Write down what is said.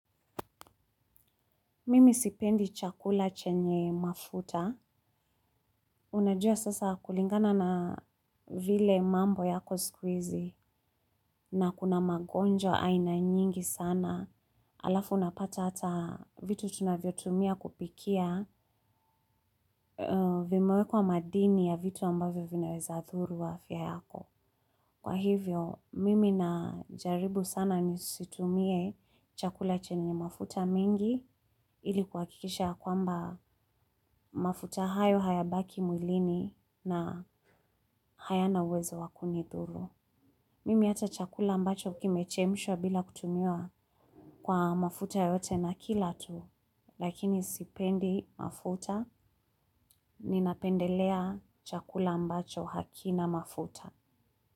Mimi sipendi chakula chenye mafuta, unajua sasa kulingana na vile mambo yako siku hizi na kuna magonjwa aina nyingi sana, halafu unapata hata vitu tunavyo tumia kupikia vime wekwa madini ya vitu ambavyo vinaweza dhuru afya yako. Kwa hivyo, mimi najaribu sana nisitumie chakula chenye mafuta mingi ili kuhakikisha ya kwamba mafuta hayo haya baki mwilini na hayana uwezo wa kunidhuru. Mimi ata chakula ambacho kimechemshwa bila kutumia kwa mafuta yoyote nakila tu, lakini sipendi mafuta, ninapendelea chakula ambacho hakina mafuta.